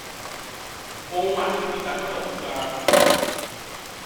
òun àti murità gbọdọ kojú ara wọn